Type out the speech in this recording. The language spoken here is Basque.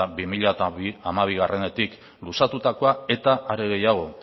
bi mila hamabietik luzatutakoa eta are gehiago